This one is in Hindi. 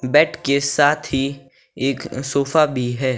बेड के साथ ही एक सोफा भी है।